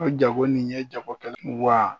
O jago nin ye jago kɛ n wa